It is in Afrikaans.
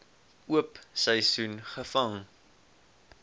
oop seisoen gevang